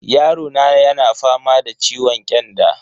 Yarona yana fama da ciwon kyanda.